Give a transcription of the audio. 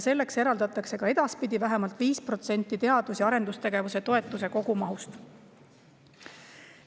Selleks eraldatakse ka edaspidi vähemalt 5% teadus‑ ja arendustegevuse toetuse kogumahust.